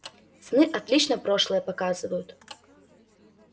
сны отлично прошлое показывают